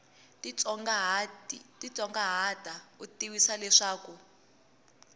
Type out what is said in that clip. titsongahata u tivisiwa leswaku ku